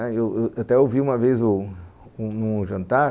Eu eu até ouvi uma vez num jantar,